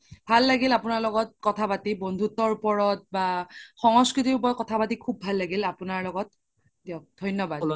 ভাল লাগিল আপোনাৰ লগত কথা পাতি বন্ধুত্বৰ ওপৰত বা সংস্কৃতিৰ ওপৰত কথা পাতি খুব ভাল লাগিল আপোনাৰ লগত দিয়ক ধন্যবাদ